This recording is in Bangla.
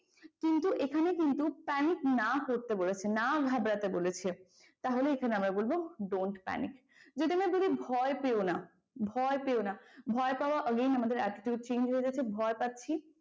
কিন্তু এখানে কিন্তু panic না করতে বলেছে। না ঘাবড়াতে বলেছে ।তাহলে এখানে আমরা বলবো don't panic যদি আমরা ধরি ভয় পেয়ো না, ভয় পেয়ো না ভয় পাওয়া again আমাদের attitude change হয়ে যাচ্ছে ভয় পাচ্ছি।